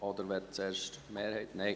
Oder möchte zuerst die Mehrheit …?